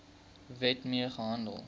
wet mee gehandel